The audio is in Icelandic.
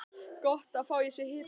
Gott að fá í sig hita.